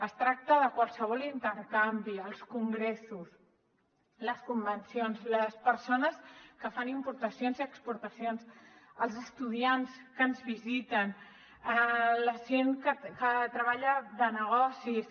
es tracta de qualsevol intercanvi els congressos les convencions les persones que fan importacions i exportacions els estudiants que ens visiten la gent que treballa de negocis